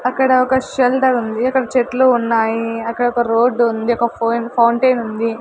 అక్కడ ఒక షెల్డర్ ఉంది అక్కడ చెట్లు ఉన్నాయి అక్కడ ఒక రోడ్డు ఉంది ఒక ఫోయన్ ఫౌంటెన్ ఉంది.